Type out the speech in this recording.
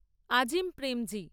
Azim Premji